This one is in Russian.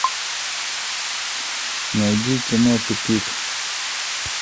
найди кино тупик